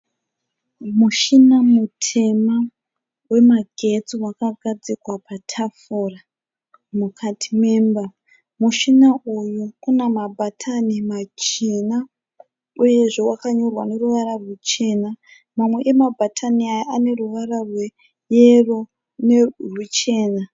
Mushina mutema wemagetsi wakagadzikwa patafura mukati memba. Mushina uyu una mabhatani machena uyezve wakanyorwa neruvara ruchena. Mamwe amabhatani aya ane ruvara rweyero neruchena.